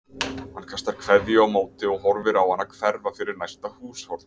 Hann kastar kveðju á móti og horfir á hana hverfa fyrir næsta húshorn.